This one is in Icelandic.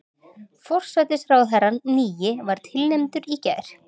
Forsætisráðherrann nýi var tilnefndur í gær